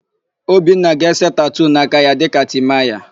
Obinna ga-ese tatuu n'aka ya dịka Timaya.